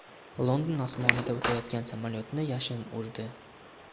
London osmonidan o‘tayotgan samolyotni yashin urdi .